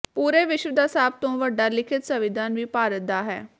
ਪੂਰੇ ਵਿਸ਼ਵ ਦਾ ਸਭ ਤੋਂ ਵੱਡਾ ਲਿਖਿਤ ਸੰਵਿਧਾਨ ਵੀ ਭਾਰਤ ਦਾ ਹੈ